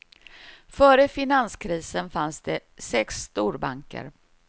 Före finanskrisen fanns det sex storbanker.